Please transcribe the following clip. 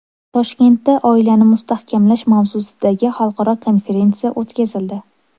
Toshkentda oilani mustahkamlash mavzusidagi xalqaro konferensiya o‘tkazildi.